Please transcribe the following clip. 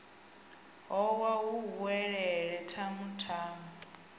howa hu welelele tamu tamu